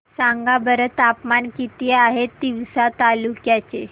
सांगा बरं तापमान किती आहे तिवसा तालुक्या चे